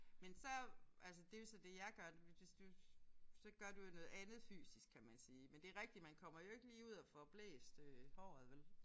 Men så altså det er jo så det jeg gør hvis du så gør du jo noget andet fysisk kan man sige men det er rigtigt man kommer jo ikke lige ud og får blæst øh håret vel